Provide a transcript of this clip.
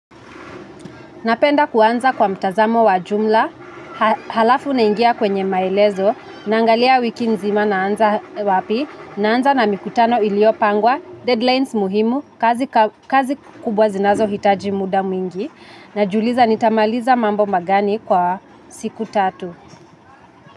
Napenda kuanza kwa mtazamo wa jumla, halafu naingia kwenye maelezo, naangalia wiki nzima naanza wapi, naanza na mikutano iliyopangwa, deadlines muhimu, kazi kubwa zinazo hitaji muda mwingi, na jiuliza nitamaliza mambo magani kwa siku tatu.